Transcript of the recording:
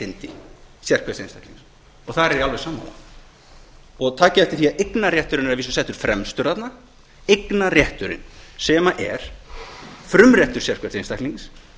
þar er ég alveg sammála takið eftir því að eignarrétturinn er að vísu settur fremstur þarna eignarrétturinn sem er frumréttur sérhvers einstaklings